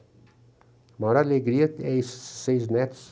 A maior alegria é esses seis netos.